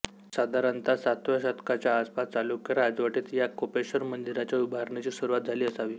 साधारणत सातव्या शतकाच्या आसपास चालुक्य राजवटीत या कोपेश्वर मंदिराच्या उभारणीची सुरुवात झाली असावी